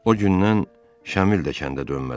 O gündən Şamil də kəndə dönmədi.